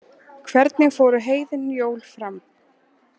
Hvernig fóru heiðin jól fram?